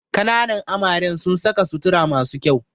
Kananan amaren sun saka sutura masu kyau